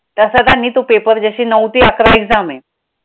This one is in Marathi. तसं त्यांनी तो paper जशी नऊ ते अकरा exam आहे